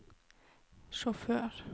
sjåfør